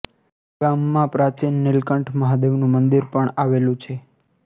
ગામમાં પ્રાચીન નિલકંઠ મહાદેવનું મંદિર પણ આવેલું છે